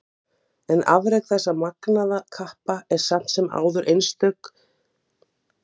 Sami árhringur af atburðum.